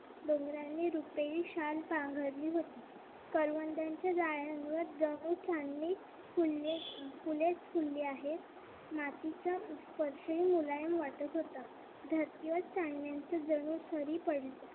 रुपेरी शाल पांघरली होती. करवंदाच्या जाळ्यांवर जणू चांदणेच फुलले फुलेच फुलली आहेत. मातीचा perfume मुलायम वाटत होता धरतीवर चांदण्याचे जणू सरी पडली होती.